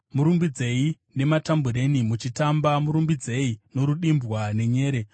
Murumbidzei nematambureni muchitamba, murumbidzei norudimbwa nenyere.